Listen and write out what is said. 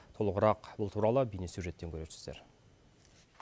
толығырақ бұл туралы бейнесюжеттен көресіздер